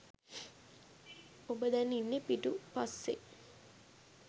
ඔබ දැන් ඉන්නේ පිටු පස්සේයි.